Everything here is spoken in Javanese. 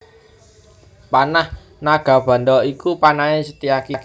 Panah Nagabandha iku panahé Setyaki